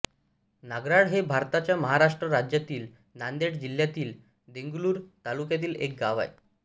नागराळ हे भारताच्या महाराष्ट्र राज्यातील नांदेड जिल्ह्यातील देगलूर तालुक्यातील एक गाव आहे